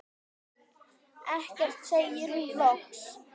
Ekkert, segir hún loks.